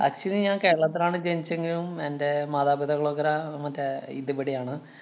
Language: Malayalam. Actually ഞാന്‍ കേരളത്തിലാണ് ജനിച്ചെങ്കിലും എന്‍റെ മതാപിതാക്കളൊക്കെ ര അഹ് മറ്റേ ഇതിവിടെയാണ്.